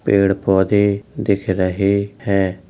पेड़ पौधे दिख रहे हैं।